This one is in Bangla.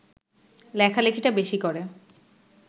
লেখালেখিটা বেশি করে